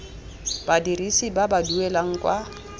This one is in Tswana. badirisi ba ba duelang kwa